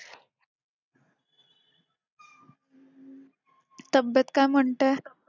तब्येत काय म्हणते